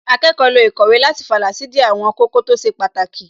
Akẹ́kọ̀ọ́ lo īkòwé láti fàlà sídìí àwọn kókó tó ṣe pàtàkì